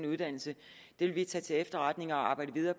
uddannelse det vil vi tage til efterretning og arbejde videre